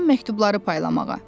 Qalan məktubları paylamağa.